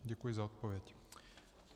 Děkuji za odpověď.